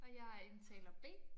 Og jeg er indtaler B